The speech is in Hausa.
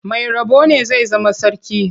Mai rabo ne zai zama sarki.